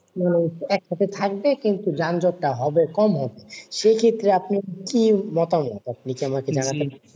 না হচ্ছে একটা তে থাকবে কিন্তু যানযট হবে কম হবে। সেই ক্ষেত্রে আপনার কি মতামত? আপনি কি আমাকে জানাতে পারবেন?